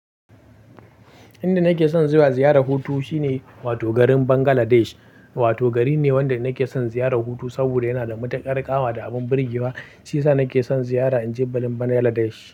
Inda nake son zuwa ziyarar hutu shine wato garin Bangladesh. Wato gari ne wanda nake son ziyarar hutu saboda yana da matuƙar ƙawa da abin birgewa. Shiyasa nake son ziyara in je garin Bangladesh.